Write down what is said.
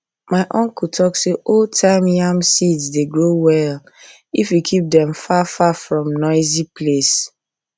my uncle talk say oldtime yam seeds dey grow well if you keep them far far from noisy place